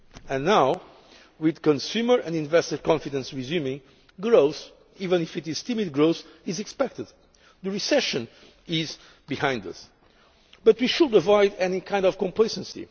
Union. And yet now, with consumer and investor confidence resuming, growth even if it is timid growth is expected. The recession is behind us, but we should avoid any kind of complacency.